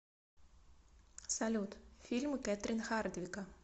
салют фильмы кетрин хардвика